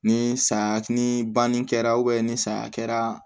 Ni saya ni banni kɛra ni saya kɛra